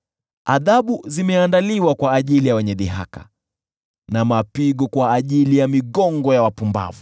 Adhabu zimeandaliwa kwa ajili ya wenye dhihaka na mapigo kwa ajili ya migongo ya wapumbavu.